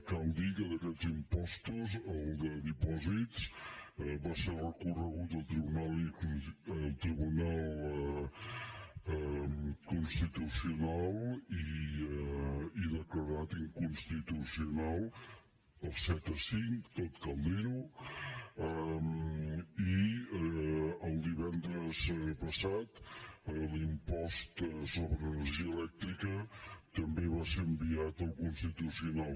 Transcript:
cal dir que d’aquests impostos el de dipòsits va ser recorregut al tribunal constitucional i declarat inconstitucional per set a cinc tot cal dir ho i el divendres passat l’impost sobre energia elèctrica també va ser enviat al constitucional